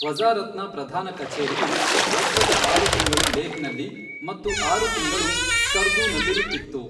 ವಜ಼ಾರತ್ನ ಪ್ರಧಾನ ಕಛೇರಿಯು ವರ್ಷದ ಆರು ತಿಂಗಳು ಲೇಹ್ನಲ್ಲಿ ಮತ್ತು ಆರು ತಿಂಗಳು ಸ್ಕರ್ದೂನಲ್ಲಿರುತ್ತಿತ್ತು.